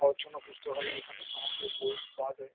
অর্চনা পুস্তাকালায় এ এখানে সমস্ত বই পাওয়া যায়।